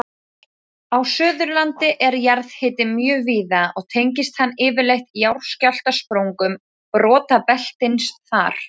Á Suðurlandi er jarðhiti mjög víða og tengist hann yfirleitt jarðskjálftasprungum brotabeltisins þar.